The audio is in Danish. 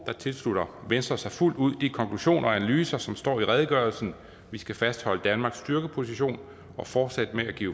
tilslutter venstre sig fuldt ud de konklusioner og analyser som står i redegørelsen vi skal fastholde danmarks styrkeposition og fortsætte med at give